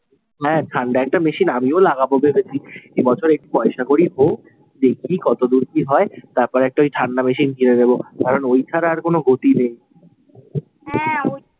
হ্যাঁ, ঠান্ডা একটা machine আমিও লাগাবো ভেবেছি। এ বছর একটু পয়সা কড়ি হোক, দেখি কতো দূর কি হয়। তারপর একটা ওই ঠান্ডা machine কিনে দেবো। কারণ ওই ছাড়া আর কোন গতি নেই হ্যাঁ,